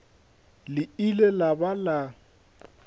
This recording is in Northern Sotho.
le ile la ba la